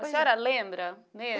A senhora lembra mesmo?